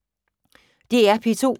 DR P2